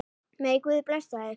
Megi Guð blessa þig.